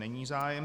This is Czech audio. Není zájem.